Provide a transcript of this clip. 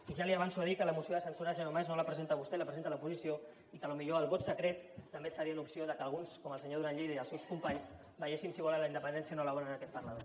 i ja li avanço a dir que la moció de censura senyor mas no la presenta vostè la presenta l’oposició i que potser el vot secret també seria una opció perquè alguns com el senyor duran i lleida i els seus companys veiéssim si volen la independència o no la volen en aquest parlament